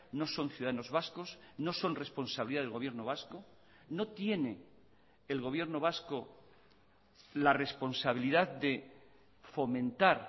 no son ciudadanos vascos no son responsabilidad del gobierno vasco no tiene el gobierno vasco la responsabilidad de fomentar